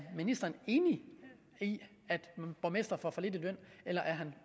ministeren enig i at borgmestre får for lidt i løn eller er han